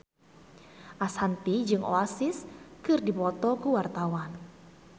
Ashanti jeung Oasis keur dipoto ku wartawan